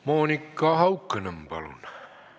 Monika Haukanõmm, palun!